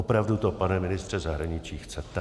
Opravdu to, pane ministře zahraničí, chcete?